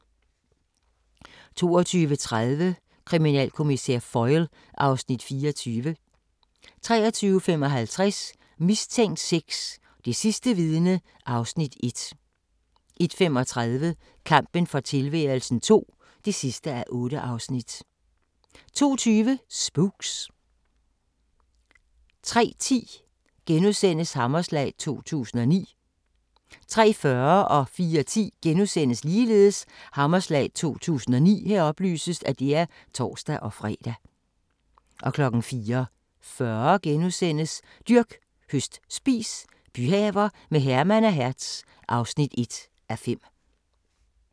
22:30: Kriminalkommissær Foyle (Afs. 24) 23:55: Mistænkt 6: Det sidste vidne (Afs. 1) 01:35: Kampen for tilværelsen II (8:8) 02:20: Spooks 03:10: Hammerslag 2009 * 03:40: Hammerslag 2009 *(tor-fre) 04:10: Hammerslag 2009 *(tor-fre) 04:40: Dyrk, høst, spis – byhaver med Herman og Hertz (1:5)*